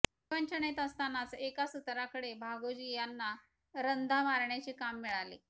विवंचनेत असतानाच एका सुताराकडे भागोजी यांना रंधा मारण्याचे काम मिळाले